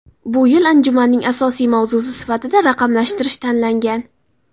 Bu yil anjumanning asosiy mavzusi sifatida raqamlashtirish tanlangan.